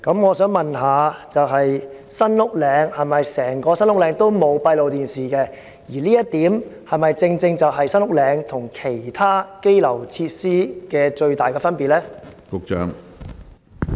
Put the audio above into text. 我想問，是否整個新屋嶺拘留中心都沒有安裝閉路電視系統，而這是否正是該中心與其他羈留設施的最大分別呢？